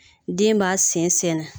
Den b'a sen sɛɛnɛ